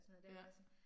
Ja